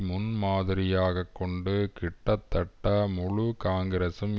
முன் மாதிரியாக கொண்டு கிட்டத்தட்ட முழு காங்கிரஸும்